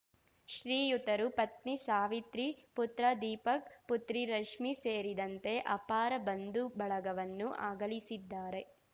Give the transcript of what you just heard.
ಶ್ರೀಯುತರು ಪತ್ನಿ ಸಾವಿತ್ರಿ ಪುತ್ರ ದೀಪಕ್ ಪುತ್ರಿ ರಶ್ಮಿ ಸೇರಿದಂತೆ ಅಪಾರ ಬಂಧು ಬಳಗವನ್ನು ಅಗಲಿಸಿದ್ದಾರೆ